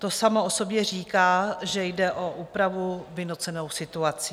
To samo o sobě říká, že jde o úpravu vynucenou situací.